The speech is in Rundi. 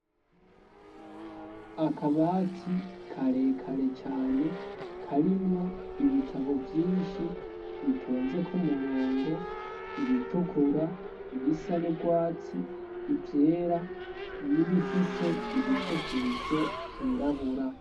Akabati karekare cane karimwo ibitabo vyinshi bitonzeko umurongo ibitukura ibisa n'ubwatsi ivyera n'ibifise ibifukisho vyirabura.